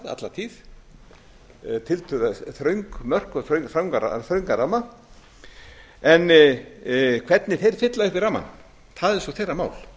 alla tíð tiltölulega þröng mörk og þröngan ramma en hvernig þeir fylla upp í rammann er svo þeirra mál